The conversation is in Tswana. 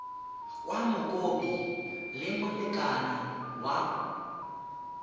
kwa mokopi le molekane wa